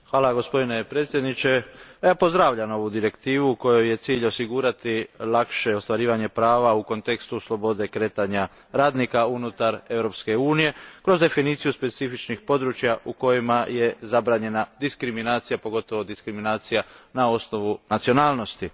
Gospodine predsjedniče, pozdravljam ovu direktivu kojoj je cilj osigurati lakše ostvarivanje prava u kontekstu slobode kretanja radnika unutar Europske unije kroz definiciju specifičnih područja u kojima je zabranjena diskriminacija, pogotovo diskriminacija na osnovu nacionalnosti.